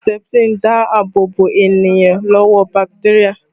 Seputirin ń dáàbò bo ènìyàn lọ́wọ́ bakiteria